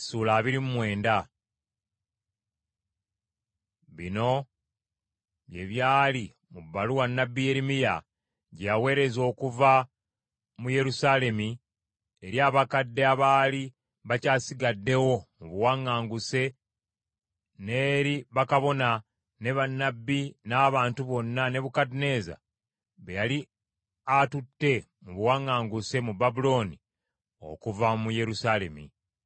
Bino bye byali mu bbaluwa nnabbi Yeremiya gye yaweereza okuva mu Yerusaalemi eri abakadde abaali bakyasigaddewo mu bawaŋŋanguse n’eri bakabona, ne bannabbi n’abantu bonna Nebukadduneeza be yali atutte mu buwaŋŋanguse mu Babulooni okuva mu Yerusaalemi.